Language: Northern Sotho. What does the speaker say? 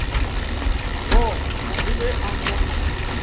bona le ge a ka